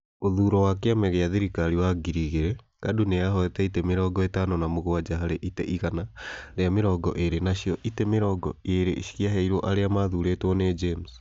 Ũthuuro wa kĩama gĩa thirikari wa ngiri igĩrĩ, KADU nĩyahootire itĩ mĩrongo ĩtano na mũgwanja harĩ itĩ igana rĩa mĩrongo ĩĩrĩ nacio Itĩ mĩrongo ĩĩrĩ ciaheirwo arĩa maathurĩtwo nĩ James.